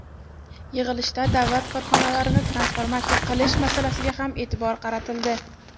Yig‘ilishda davlat korxonalarini transformatsiya qilish masalasiga ham e’tibor qaratildi.